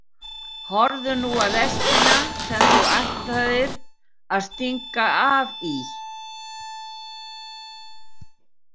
Horfðu nú á lestina sem þú ætlaðir að stinga af í.